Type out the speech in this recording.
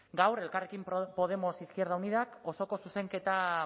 gaur elkarrekin podemos izquierda unidak osoko zuzenketa